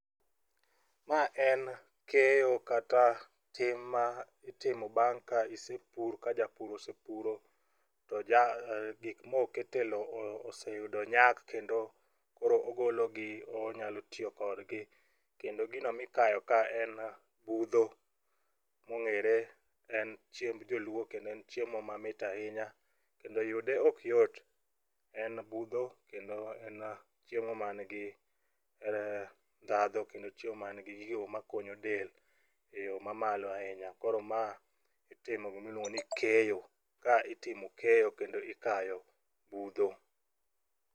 Ma en keyo kata tim ma itimo bang' ka isepur ka japur osepuro to gik moket e lo oseyudo nyak kendo koro ogologi kendo koro onyalo tiyo kodgi kendo gino mikayo ka en budho mong'ere en chiemb joluo kendo en chiemo mamit ahinya kendo yude ok yot. En budho kendo en chiemo mangi ndhadhu kendo chiemo man gi gigo makonyo del e yo mamalo ahinya, koro ma itimo gimiluongo ni keyo ka itimo keyo kendo ikayo budho.